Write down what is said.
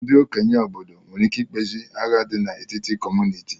Ndị okenye obodo nwere ike ikpezi agha dị n'etiti kọmunịti